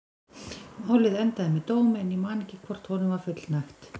Málið endaði með dómi en ég man ekki hvort honum var fullnægt.